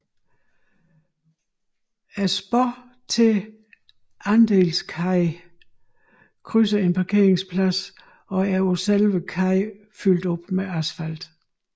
Sporet til Andelskaj krydser en parkeringsplads og er på selve kajen fyldt op med asfalt